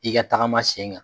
I ka tagama sen kan.